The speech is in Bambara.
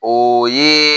O ye